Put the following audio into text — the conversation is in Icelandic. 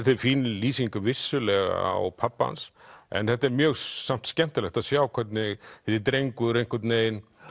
fín lýsing vissulega á pabba hans en þetta er mjög samt skemmtilegt að sjá hvernig þessi drengur einhvern veginn